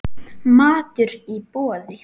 Matur í boði.